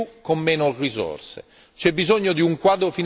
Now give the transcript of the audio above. Non potremo fare di più con meno risorse.